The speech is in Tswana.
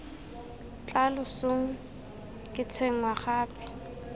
tla losong ke tshwenngwa gape